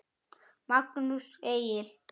Magnús Egill.